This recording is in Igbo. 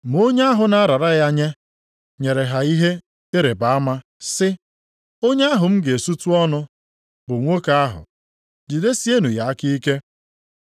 Ma onye ahụ na-arara ya nye, nyere ha ihe ịrịbama, sị, “Onye ahụ m ga-esutu ọnụ bụ nwoke ahụ, jidesienụ ya aka ike!”